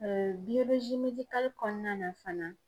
kɔnɔna na fana